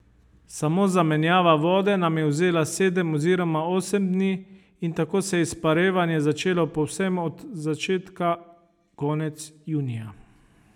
Samo zamenjava vode nam je vzela sedem oziroma osem dni in tako se je izparevanje začelo povsem od začetka konec junija.